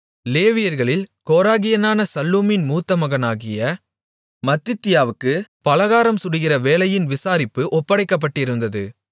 லேவியர்களில் கோராகியனான சல்லூமின் மூத்த மகனாகிய மத்தித்தியாவுக்குப் பலகாரம் சுடுகிற வேலையின் விசாரிப்பு ஒப்படைக்கப்பட்டிருந்தது